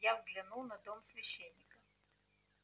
я взглянул на дом священника